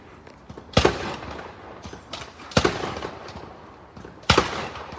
Bir sıra atış səsləri eşidilir.